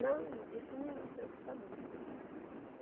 Não, isso não me preocupa não.